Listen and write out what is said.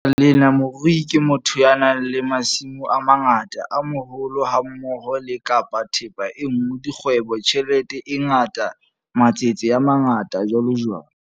Ka baka lena, morui ke motho ya nang le masimo a mangata, a maholo hammoho le - kapa thepa e nngwe, dikgwebo, tjhelete e ngata, matsete a mangata, jwalojwalo.